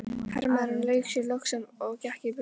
Hermaðurinn lauk sér loks af og gekk í burtu.